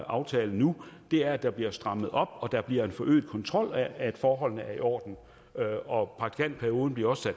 aftale nu er at der bliver strammet op og der bliver en forøget kontrol af at forholdene er i orden og praktikantperioden bliver også